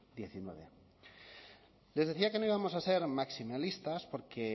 hemeretzi les decía que no íbamos a ser maximalistas porque